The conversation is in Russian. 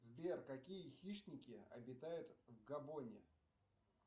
сбер какие хищники обитают в габоне